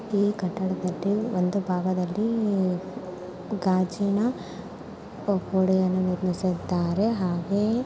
ಈ ಕಟ್ಟಡದಲ್ಲಿ ಒಂದು ಭಾಗದಲ್ಲಿ ಗಾಜಿನ ಗೋಡೆಯನ್ನು ನಿರ್ಮಿಸಿದ್ದಾರೆ ಹಾಗೆಯೇ--